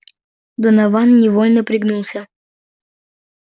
донован невольно пригнулся